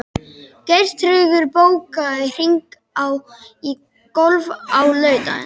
Geirtryggur, bókaðu hring í golf á laugardaginn.